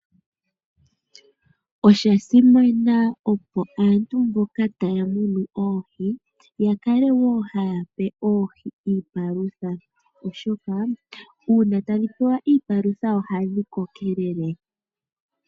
Osha simana opo aantu mboka taya munu oohi ya kale wo haya pe oohi iipalutha, oshoka uuna tadhi pewa iipalutha ohadhi kokelele.